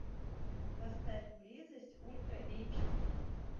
поставь близость ультра эйч ди